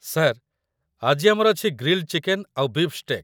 Sir, ଆଜି ଆମର ଅଛି ଗ୍ରିଲ୍‌ଡ୍‌ ଚିକେନ୍ ଆଉ ବୀଫ୍ ଷ୍ଟେକ୍ ।